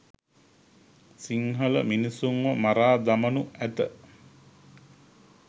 සින්හල මිනිසුන්ව මරා දමනු ඇත.